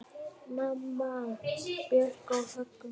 Mamma, Björk og Högni.